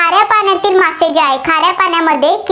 मासे जे आहेत, खाऱ्या पाण्यामध्ये